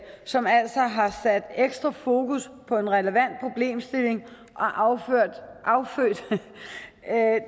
som altså har sat ekstra fokus på en relevant problemstilling og og affødt